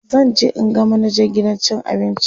zanje in ga manajan gidan cin abincin